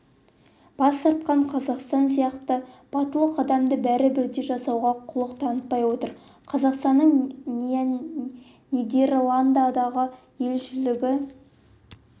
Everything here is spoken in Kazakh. бас тартқан қазақстан сияқты батыл қадамды бәрі бірдей жасауға құлық танытпай отыр қазақстанның нидерландыдағы елшілігінің